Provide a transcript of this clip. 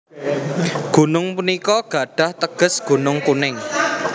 Gunung punika gadhah teges Gunung Kuning